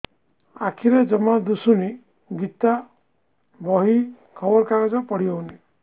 ଆଖିରେ ଜମା ଦୁଶୁନି ଗୀତା ବହି ଖବର କାଗଜ ପଢି ହଉନି